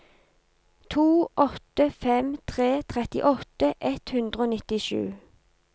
to åtte fem tre trettiåtte ett hundre og nittisju